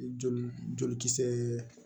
Joli joli kisɛɛ